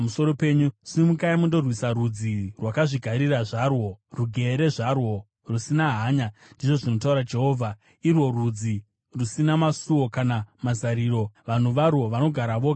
“Simukai mundorwisa rudzi rwakazvigarira zvarwo, rugere zvarwo rusina hanya,” ndizvo zvinotaura Jehovha, “irwo rudzi rusina masuo kana mazariro; vanhu varwo vanogara voga zvavo.